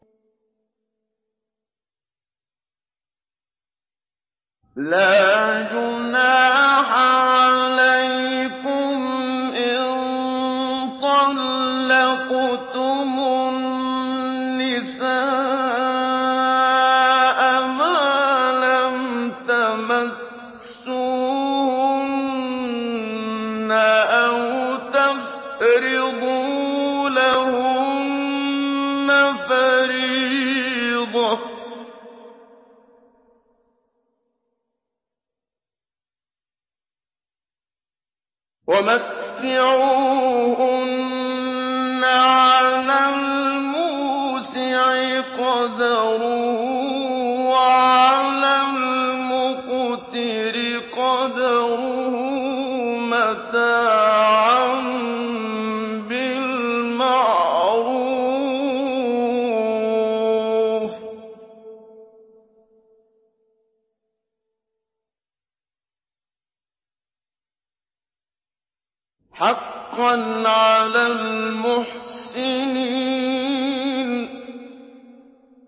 لَّا جُنَاحَ عَلَيْكُمْ إِن طَلَّقْتُمُ النِّسَاءَ مَا لَمْ تَمَسُّوهُنَّ أَوْ تَفْرِضُوا لَهُنَّ فَرِيضَةً ۚ وَمَتِّعُوهُنَّ عَلَى الْمُوسِعِ قَدَرُهُ وَعَلَى الْمُقْتِرِ قَدَرُهُ مَتَاعًا بِالْمَعْرُوفِ ۖ حَقًّا عَلَى الْمُحْسِنِينَ